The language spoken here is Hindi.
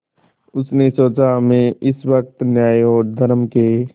उसने सोचा मैं इस वक्त न्याय और धर्म के